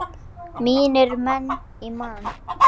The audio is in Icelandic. Mínir menn í Man.